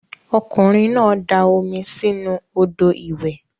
Okunrin na da omi si inu odo iwe.